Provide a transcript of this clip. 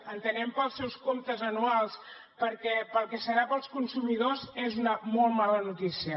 entenem que per als seus comptes anuals perquè pel que serà per als consumidors és una molt mala notícia